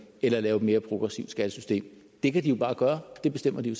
eller lave et mere progressivt skattesystem det kan de jo bare gøre det bestemmer de